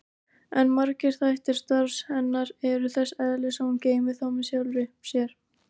En margir þættir starfs hennar eru þess eðlis að hún geymir þá með sjálfri sér.